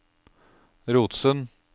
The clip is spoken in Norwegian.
Rotsund